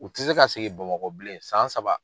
U ti se ka segin Bamakɔ bilen san saba.